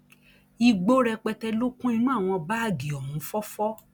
igbó rẹpẹtẹ ló kún inú àwọn báàgì ohun fọfọ